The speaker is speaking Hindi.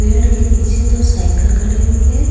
पेड़ के नीचे तो साइकिल खड़ी हुई हैं।